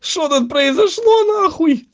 что тут произошло нахуй